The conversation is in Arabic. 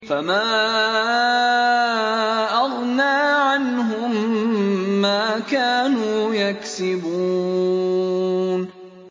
فَمَا أَغْنَىٰ عَنْهُم مَّا كَانُوا يَكْسِبُونَ